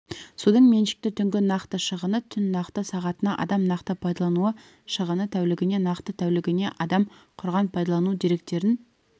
судың меншікті түнгі нақты шығыны түн нақты сағатына адам нақты пайдалану шығыны тәулігіне нақты тәулігіне адам құрған пайдалану деректерін